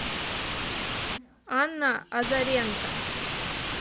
анна азаренко